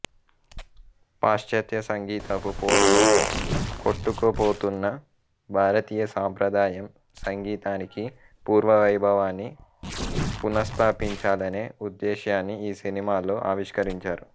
పాశ్చాత్య సంగీతపు హోరులో కొట్టుకుపోతున్న భారతీయ సాంప్రదాయం సంగీతానికి పూర్వవైభవాన్ని పునస్థాపించాలనే ఉద్దేశ్యాన్ని ఈ సినిమాలో ఆవిష్కరించారు